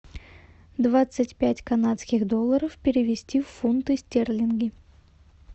двадцать пять канадских долларов перевести в фунты стерлинги